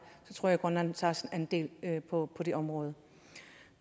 tror jeg at grønland tager sin andel på det område